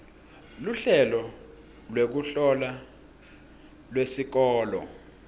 luhlelo lwekuhlola lwesikolo